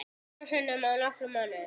Þrisvar sinnum á nokkrum mánuðum?